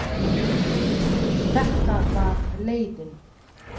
Þetta var leiðin.